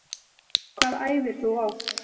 Hvað æfir þú oft?